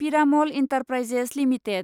Piramal enterprises limited